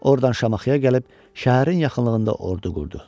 Ordan Şamaxıya gəlib şəhərin yaxınlığında ordu qurdu.